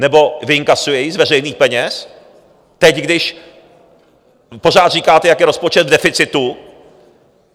Nebo vyinkasuje ji z veřejných peněz, teď, když pořád říkáte, jak je rozpočet v deficitu?